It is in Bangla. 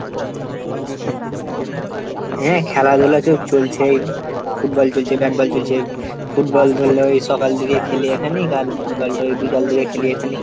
হ্যাঁ খেলাধুলা তো চলছেই ফুটবল চলছে, ব্যাটবল চলছে, ফুটবল ধরলে ওই সকাল থেকে খেলি এখানে, ব্যাটবল বিকাল থেকে খেলি এখানে।